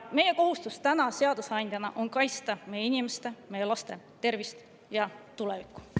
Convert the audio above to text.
Meie kohustus seadusandjana on kaitsta meie inimeste, meie laste tervist ja tulevikku.